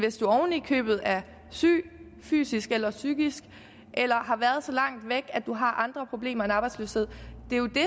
oven i købet er syg fysisk eller psykisk eller har været så langt væk at man har andre problemer end arbejdsløshed det er jo